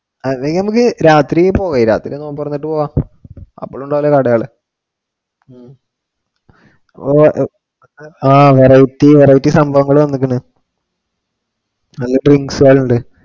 അത് നമക്ക് രാത്രി പോവാം രാത്രി എന്തെങ്കിലും പറഞ്ഞിട്ട് പോവാം അപ്പോഴുണ്ടാവുല്ലോ കടകള് ഓ ആഹ് variety സംഭവങ്ങൾ ഒക്കെ വന്നേക്കണ് നല്ല drinks ആയാലും ഉണ്ട്